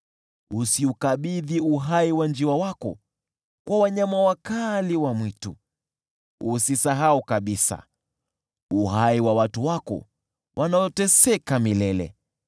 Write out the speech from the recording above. Usiukabidhi uhai wa njiwa wako kwa wanyama wakali wa mwitu; usisahau kabisa uhai wa watu wako wanaoteseka milele.